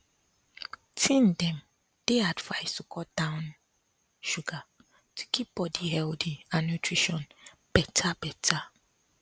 teen dem dey advised to cut down sugar to keep body healthy and nutrition better better